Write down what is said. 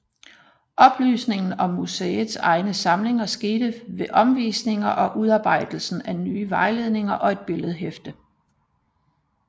Oplysningen om museets egne samlinger skete ved omvisninger og udarbejdelsen af nye vejledninger og et billedhæfte